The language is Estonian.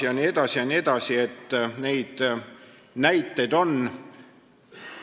Ja nõnda edasi, neid näiteid on veel.